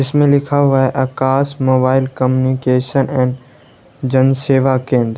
इसमें लिखा हुआ है Akash mobile communication and Jan Seva केंद्र।